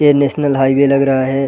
ये national highway लग रहा है।